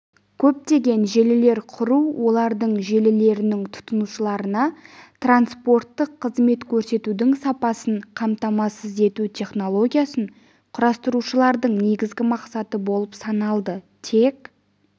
көптеген желілер құру олардың желілерінің тұтынушыларына транспорттық қызмет көрсетудің сапасын қамтамасыз ету технологиясын құрастырушылардың негізгі мақсаты болып саналды тек